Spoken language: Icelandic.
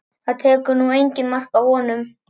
Það tekur nú enginn mark á honum